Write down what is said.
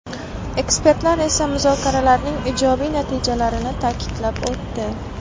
Ekspertlar esa muzokaralarning ijobiy natijalarini ta’kidlab o‘tdi.